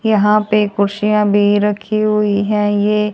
यहां पे कुर्सियां भी रखी हुई हैं ये--